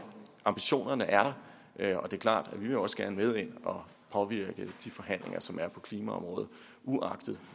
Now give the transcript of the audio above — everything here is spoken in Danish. ambitionerne er der og det er klart at vi også gerne vil med ind og påvirke de forhandlinger som er på klimaområdet uagtet